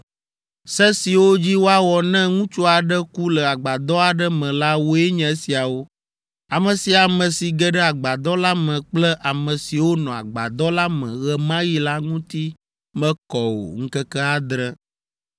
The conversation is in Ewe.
“Se siwo dzi woawɔ ne ŋutsu aɖe ku le agbadɔ aɖe me la woe nye esiawo: Ame sia ame si ge ɖe agbadɔ la me kple ame siwo nɔ agbadɔ la me ɣe ma ɣi la ŋuti mekɔ o ŋkeke adre.